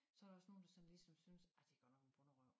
Så der også nogen der sådan ligesom synes ej det godt nok en bonderøv